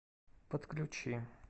подключи